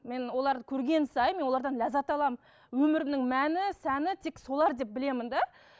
мен оларды көрген сайын мен олардан ләззат аламын өмірімнің мәні сәні тек солар деп білемін де